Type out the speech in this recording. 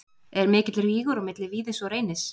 Er mikill rígur á milli Víðis og Reynis?